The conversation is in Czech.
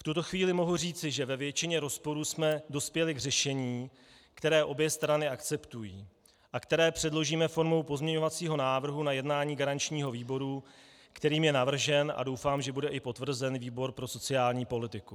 V tuto chvíli mohu říci, že ve většině rozporů jsme dospěli k řešení, které obě strany akceptují a které předložíme formou pozměňovacího návrhu na jednání garančního výboru, kterým je navržen, a doufám, že bude i potvrzen, výbor pro sociální politiku.